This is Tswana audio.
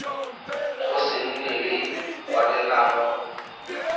go se nne le kwalelano